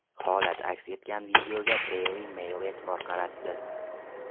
Holat aks etgan videoga Daily Mail e’tibor qaratdi .